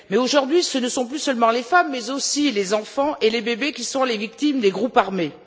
Mais, aujourd'hui, ce ne sont plus seulement les femmes mais aussi les enfants et les bébés qui sont les victimes des groupes armés.